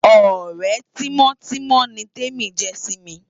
Òrè timòtimò ni Temi jè si mi